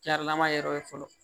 lama yɔrɔ ye fɔlɔ